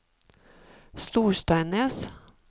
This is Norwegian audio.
Storsteinnes